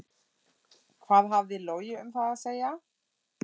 Hvað hafði Logi um það að segja?